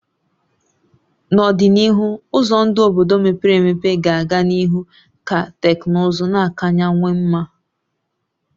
N'ọdịnihu, ụzọ ndụ obodo mepere emepe ga-aga n'ihu ka teknụzụ na-akawanye mma